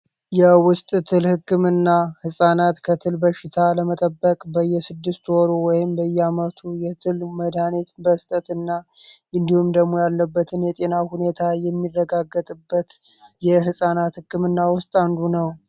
የውስጥ ትል ሕክምና ሕፃናት ከትል በሽታ ለመጠበቅ በየስድስት ወሩ ወይም በየ አመቱ የትል መዳኔት በስጠትና እንዲሁም ደሞ ያለበትን የጤና ሁኔታ የሚረጋገትበት የሕፃናት ሕክም ና ውስጥ አንዱ ነው።